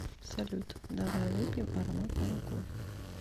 салют давай выпьем ароматного кофе